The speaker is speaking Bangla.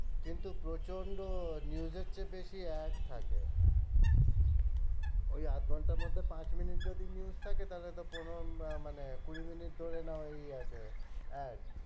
কিন্তু প্রচন্ড news এর চেয়ে বেশি ad থাকে ওই আধ ঘন্টার মধ্যে পাঁচ মিনিট যদি news থাকে তাহলে তো পনেরো আহ মানে কুড়ি মিনিট ধরে না হয়েই আছে ad